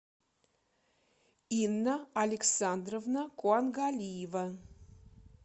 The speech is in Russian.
инна александровна куангалиева